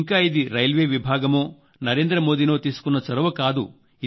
ఇంకా ఇది రైల్వే విభాగమో నరేంద్ర మోదీ నో తీసుకున్న చొరవ కాదు